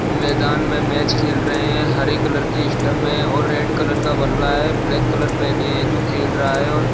मैदान में मैच खेल रहे है हरे कलर की स्टंप है और रेड कलर का बल्ला है ब्लैक कलर पेहने है जो खेल रहा है और --